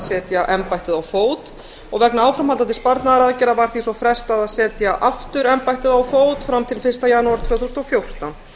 setja embættið á fót vegna áframhaldandi sparnaðaraðgerða var því svo frestað að setja aftur embættið á fót fram til fyrsta janúar tvö þúsund og fjórtán